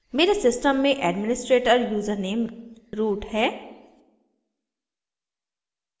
मेरे system में administrator username root है